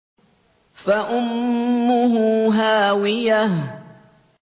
فَأُمُّهُ هَاوِيَةٌ